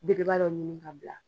Bebeba dɔ ɲinni ka bila.